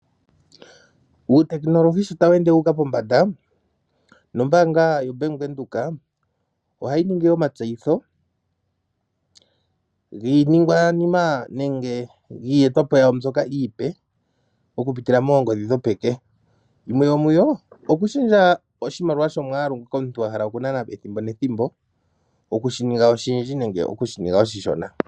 Uutekinolohi sho ta wu ende wuuka pombandaa nombaanga yaVenduka oha yi ningi omatseyitho giiningwanima nenge giiyetwapo yawo mbyoka iipe okupitila moongodhi moongodhi dhopeke. Oto vulu okushendja omwaalu goshimaliwa shoka omuntu wa hala oku nana ethimbo nethimbo, wushi ninge oshindji nenge oshishona.